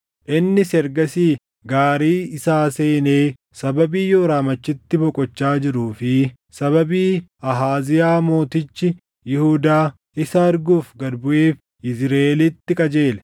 Innis ergasii gaarii isaa seenee sababii Yooraam achitti boqochaa jiruu fi sababii Ahaaziyaa mootichi Yihuudaa isa arguuf gad buʼeef Yizriʼeelitti qajeele.